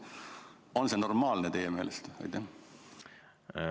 On see teie meelest normaalne?